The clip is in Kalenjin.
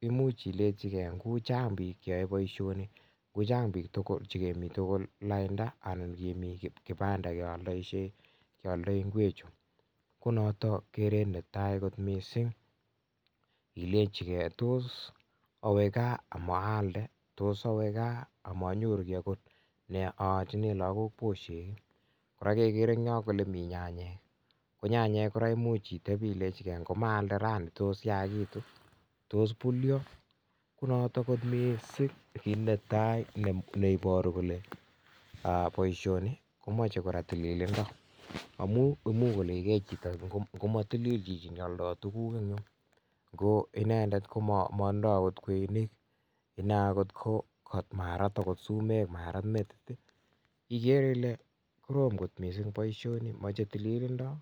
imuch ilenjige u chang biik cheyoe boisioni ngo chang biik che kemi tugul lainda anan kemi kibanda keladaishei kealdoi ngwechu? Ko noto keret netai mising ilenjige tos awe gaa amaalde? tos awe gaa amanyoru kiy agot nee alchinen lagok bushek ii? Kora kegere en yo kole mi nyanyek, ko nyanyek kora koimuch itebenge kole ngomaalde raini tos yagitu? Tos bulyo? Ko noto kot mising kit netai ne iboru kole boisioni komoche kora tililindo amun imuch kolenjige chito ngo motilil chito ne aldoishe en yu? Inendet komatinye agot kweinik ine agot ko marat agot sumek, marat agot metit igere ile korom kot boisioni. Moche tililindo.